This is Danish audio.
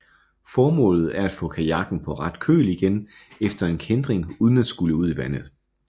Formålet er at få kajakken på ret køl igen efter en kæntring uden at skulle ud i vandet